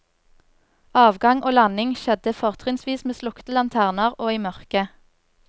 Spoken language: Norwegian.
Avgang og landing skjedde fortrinnsvis med slukte lanterner og i mørke.